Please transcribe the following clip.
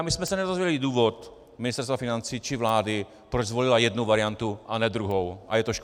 A my jsme se nedozvěděli důvod Ministerstva financí či vlády, proč zvolila jednu variantu a ne druhou, a je to škoda.